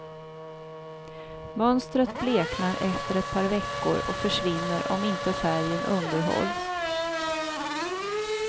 Mönstret bleknar efter ett par veckor och försvinner om inte färgen underhålls.